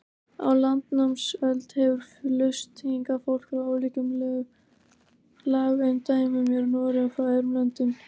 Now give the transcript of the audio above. Á landnámsöld hefur flust hingað fólk frá ólíkum lagaumdæmum í Noregi og frá öðrum löndum.